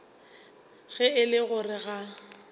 ge e le gore ga